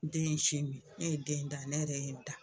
Den ye sin min, ne ye den da ne yɛrɛ ye n da